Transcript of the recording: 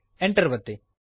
Enter ಅನ್ನು ಒತ್ತಿರಿ